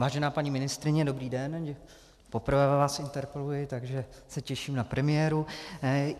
Vážená paní ministryně, dobrý den, poprvé vás interpeluji, takže se těším na premiéru.